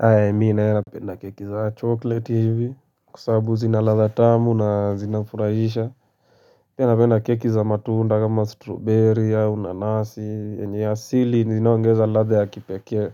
Hae, mimi naye napenda keki za choklet hivi, kwa sababu, zinaladha tamu na zinafurahisha. Pia napenda keki za matunda, kama strawberry au nanasi yenye asili inaongeza ladha ya kipekee.